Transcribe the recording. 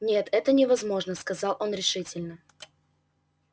нет это невозможно сказал он решительно